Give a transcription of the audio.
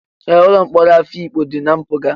Ee, ụlọ mkpọrọ Afikpo dị na mpụga.